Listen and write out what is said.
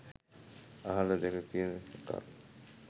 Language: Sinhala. අහල දැකල තියෙන එකක්.